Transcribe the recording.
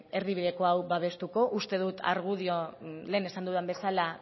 erdibideko hau babestuko uste dut argudioa lehen esan dudan bezala